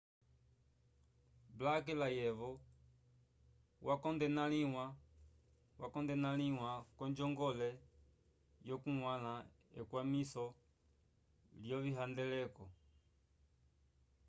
blake layevo wakondenalĩwa k'onjongole yokuñgwãla ekwamiso lyovihandeleko